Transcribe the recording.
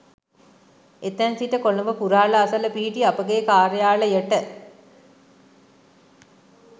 එතැන් සිට කොළඹ පුරහල අසල පිහිටි අපගේ කාර්යාලයට